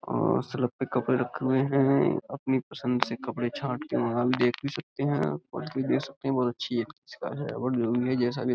अं सड़क पे कपड़े रखे हुए हैं। अपनी पसंद से कपड़े छाट के वहाँ देख भी सकते हैं। क्वालिटी देख सकते हैं। बहुत अच्छी हैं